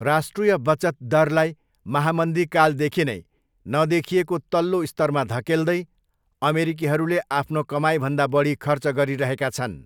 राष्ट्रिय बचत दरलाई महामन्दीकालदेखि नै नदेखिएको तल्लो स्तरमा धकेल्दै, अमेरिकीहरूले आफ्नो कमाइभन्दा बढी खर्च गरिरहेका छन्।